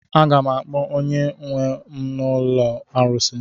A ga m akpọ onye nwe m na ụlọ arụsị.